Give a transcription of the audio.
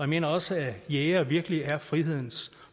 mener også at jægere virkelig er frihedens